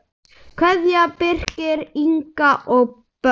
Kveðja, Birkir, Inga og börn.